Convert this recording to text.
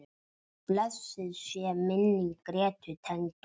Blessuð sé minning Grétu tengdó.